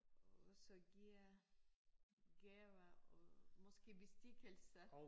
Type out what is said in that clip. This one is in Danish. Også give gaver og måske bestikkelse